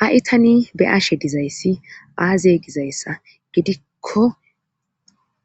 Ha'i tani beaashe dizayssi aaze gizayssa gidikko